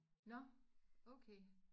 Nåh okay